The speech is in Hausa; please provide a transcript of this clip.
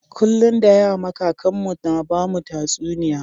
Kullun da yama kakan mu na bamu tatsuniya.